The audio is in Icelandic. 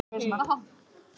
Gervifæturnir lausir úr tolli